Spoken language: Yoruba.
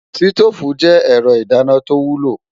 Sítóòfù je ẹ̀rọ ìdáná tó wúlò.